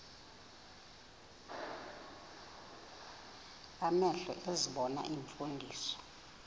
amehlo ezibona iimfundiso